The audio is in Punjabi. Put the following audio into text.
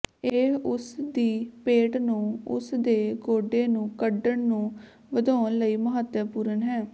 ਇਹ ਉਸ ਦੀ ਪੇਟ ਨੂੰ ਉਸ ਦੇ ਗੋਡੇ ਨੂੰ ਕੱਢਣ ਨੂੰ ਵਧਾਉਣ ਲਈ ਮਹੱਤਵਪੂਰਨ ਹੈ